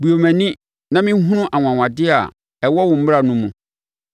Bue mʼani na menhunu anwanwadeɛ a ɛwɔ wo mmara no mu.